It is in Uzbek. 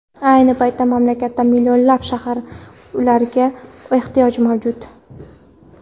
Ayni paytda mamlakatda millionlab shahar uylariga ehtiyoj mavjud.